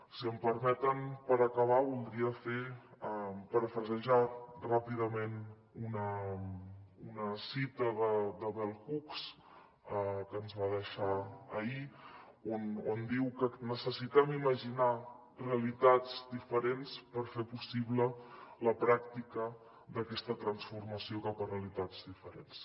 si m’ho permeten per acabar voldria parafrasejar ràpidament una cita de bell hooks que ens va deixar ahir on diu que necessitem imaginar realitats diferents per fer possible la pràctica d’aquesta transformació cap a realitats diferents